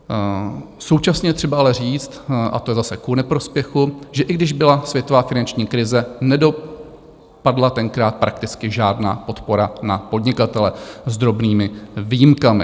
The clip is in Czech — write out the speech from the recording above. Současně je třeba ale říct - a to je zase ku neprospěchu - že i když byla světová finanční krize, nedopadla tenkrát prakticky žádná podpora na podnikatele, s drobnými výjimkami.